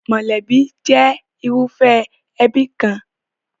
Mọ̀lẹ́bí jẹ́ irúfẹ́ ẹbí kan.